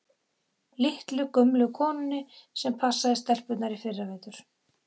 Litlu, gömlu konunni sem passaði stelpurnar í fyrravetur?